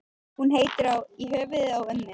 Hún heitir í höfuðið á ömmu.